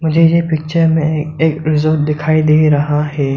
मुझे ये पिक्चर में एक रिज़ोर्ट दिखाई दे रहा है।